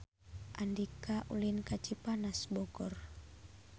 Andika ulin ka Cipanas Bogor